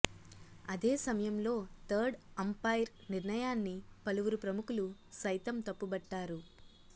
అదే సమయంలో third umpire నిర్ణయాన్ని పలువురు ప్రముఖులు సైతం తప్పుబట్టారు